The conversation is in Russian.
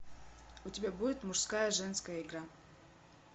у тебя будет мужская женская игра